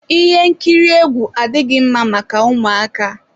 Ihe nkiri egwu adịghị mma maka ụmụaka.